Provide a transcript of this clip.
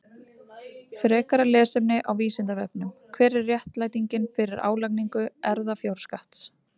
Frekara lesefni á Vísindavefnum: Hver er réttlætingin fyrir álagningu erfðafjárskatts?